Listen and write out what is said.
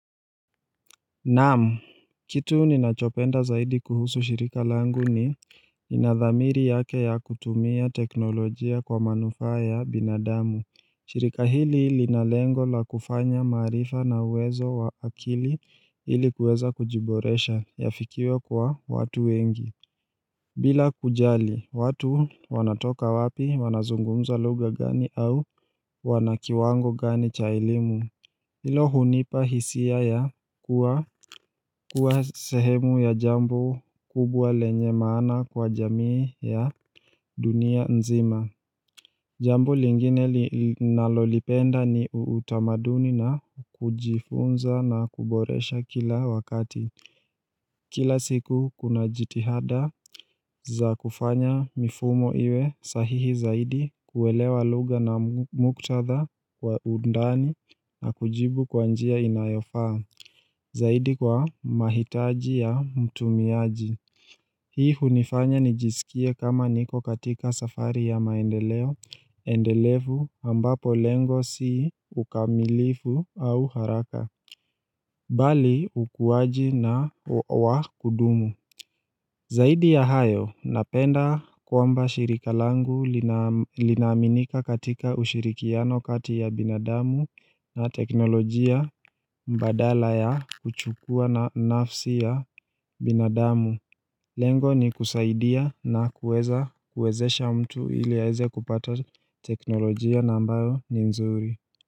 Naam, kitu ninachokipenda zaidi kuhusu shirika langu ni inadhamiri yake ya kutumia teknolojia kwa manufaa ya binadamu shirika hili linalengo la kufanya maarifa na uwezo wa akili ilikuweza kujiboresha, yafikiwe kwa watu wengi bila kujali, watu wanatoka wapi wanazungumza lugha gani au wanakiwango gani cha elimu Hilo hunipa hisia ya kuwa sehemu ya jambo kubwa lenye maana kwa jamii ya dunia nzima Jambo lingine ninalolipenda ni utamaduni na kujifunza na kuboresha kila wakati Kila siku kuna jitihada za kufanya mifumo iwe sahihi zaidi kuelewa lugha na muktatha kwa undani na kujibu kwa njia inayofaa Zaidi kwa mahitaji ya mtumiaji. Hii hunifanya nijisikie kama niko katika safari ya maendeleo, endelevu ambapo lengo si ukamilifu au haraka, bali ukuaji na wa kudumu. Zaidi ya hayo, napenda kwamba shirika langu linaaminika katika ushirikiano kati ya binadamu na teknolojia badala ya kuchukua na nafsi ya binadamu. Lengo ni kusaidia na kueza kuezesha mtu ili aweze kupata teknolojia na ambayo ni mzuri.